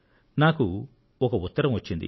నాకు ఒక ఉత్తరం వచ్చింది